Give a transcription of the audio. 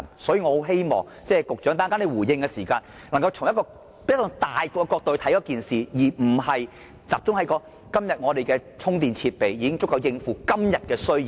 所以，我十分希望局長稍後回應時，能夠從宏觀角度考慮這件事，而不是集中說今天的充電設備已經足夠應付今天的需要。